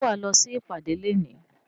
Ṣé wà á lọ sí ìpàdé léèní?